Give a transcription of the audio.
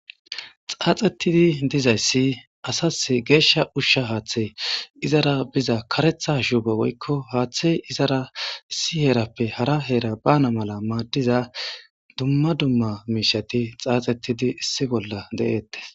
Xaaxettidi dizayssi asas geeshsha ushsha haaththey izara biza karetha shube woykko haaththey izara issi herappe hara heera bana mala maaddiza dumma dumma miishati xaaxettidi issi bolla de'eettes.